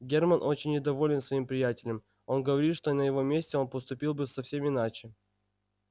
германн очень недоволен своим приятелем он говорит что на его месте он поступил бы совсем иначе